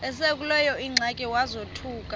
esekuleyo ingxaki wazothuka